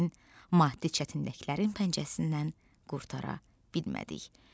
Lakin maddi çətinliklərin pəncərəsindən qurtara bilmədik.